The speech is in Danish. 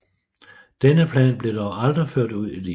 Denne plan blev dog aldrig ført ud i livet